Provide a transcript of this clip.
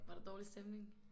Var der dårlig stemning?